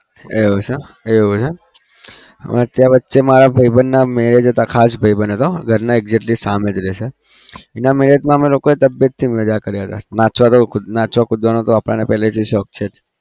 એવું છે એવું એમ વચ્ચે વચ્ચે મારા ભાઈબંધના marriage હતા ખાસ ભાઈબંધ હતો ઘરની exactly સામે જ રહે છે એના marriage મા અમે લોકોએ તબિયતથી માજા કર્યા હતા નાચવા તો નાચવા કુદવાનો આપણને પહેલેથી શોખ છે જ.